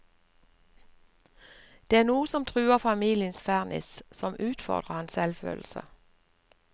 Det er noe som truer familiens ferniss, som utfordrer hans selvfølelse.